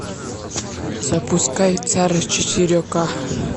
запускай царь четыре к